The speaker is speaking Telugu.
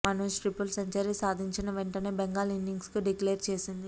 మనోజ్ ట్రిపుల్ సెంచరీ సాధించిన వెంటనే బెంగాల్ ఇన్నింగ్స్ డిక్లేర్ చేసింది